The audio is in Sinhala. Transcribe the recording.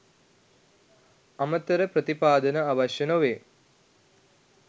අමතර ප්‍රතිපාදන අවශ්‍ය නොවේ.